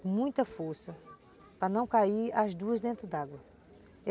com muita força para não cair as duas dentro d'água.